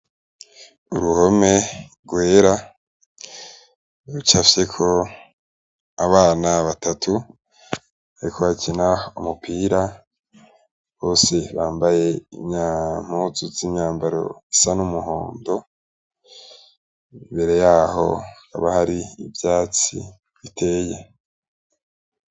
Uruhome rwera rucafyek' abana batatu bariko bakin' umupira bose bambay' impuzu z' imyambaro zisa n' umuhondo, imbere yaho hakaba har ivyatsi biteye.